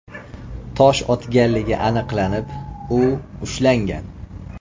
tosh otganligi aniqlanib, u ushlangan.